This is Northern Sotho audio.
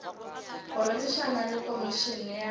go rerišana le komišene ya